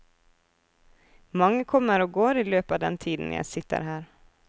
Mange kommer og går i løpet av den tiden jeg sitter her.